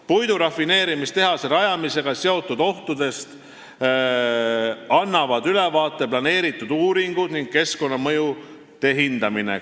" Puidurafineerimistehase rajamisega seotud ohtudest annavad ülevaate planeeritud uuringud ning keskkonnamõjude hindamine.